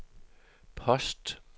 post